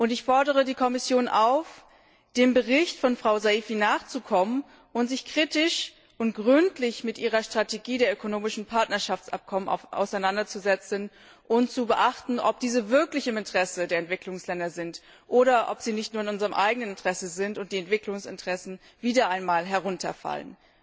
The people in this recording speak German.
Ich fordere die Kommission auf, dem Bericht von Frau Saïfi nachzukommen und sich kritisch und gründlich mit ihrer Strategie der ökonomischen Partnerschaftsabkommen auseinanderzusetzen und darauf zu achten, ob diese wirklich im Interesse der Entwicklungsländer sind oder ob sie nicht nur in unserem eigenen Interesse sind und die Entwicklungsinteressen wieder einmal herunterfallen.